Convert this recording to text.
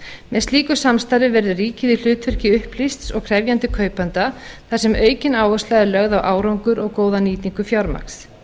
með slíku samstarfi verður ríkið í hlutverki upplýsts og krefjandi kaupanda þar sem aukin áhersla er lögð á árangur og góða nýtingu fjármagns